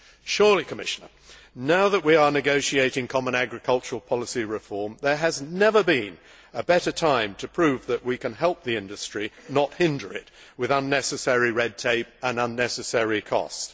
Surely, Commissioner, now that we are negotiating common agricultural policy reform, there has never been a better time to prove that we can help the industry and not hinder it with unnecessary red tape and unnecessary costs.